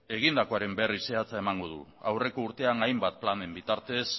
egindakoaren berri zehatza emango dut aurreko urtean hainbat planen bitartez